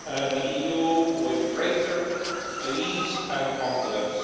the EU with greater ease and confidence.